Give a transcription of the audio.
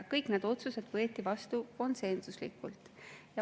Kõik need otsused võeti vastu konsensuslikult.